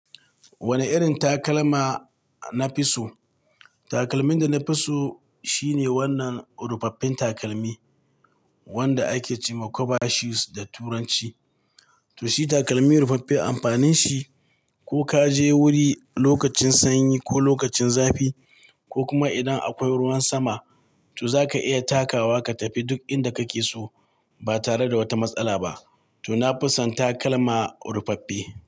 Wane irin takalma na fi so? Takalmin da na fi so shine wannan ruffaffen takalmi wanda ake ce ma "Kuba shoes" da turanci. To shi takalmi ruffaffe amfanin shi ko ka je wuri lokacin sanyi ko lokacin zafi ko kuma idan akwai ruwan sama to zaka iya takawa ka tafi duk inda kake so ba tare da wata matsala ba. To na fi son takalma ruffaffe.